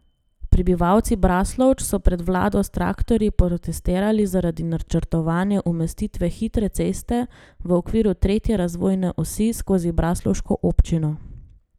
Prebivalci Braslovč so pred vlado s traktorji protestirali zaradi načrtovane umestitve hitre ceste v okviru tretje razvojne osi skozi braslovško občino.